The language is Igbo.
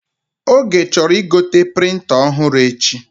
Oge chọrọ igote prịnta ọhụrụ echi